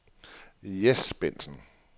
Jess Bengtsen